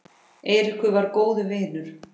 Eiríkur var góður vinur.